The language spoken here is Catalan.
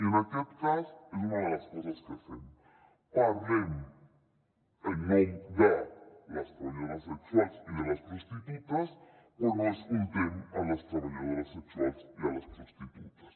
i en aquest cas és una de les coses que fem parlem en nom de les treballadores sexuals i de les prostitutes quan no escoltem les treballadores sexuals i les prostitutes